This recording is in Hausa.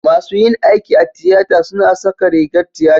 masu yin aiki a tiyata suna saka rigar tiyata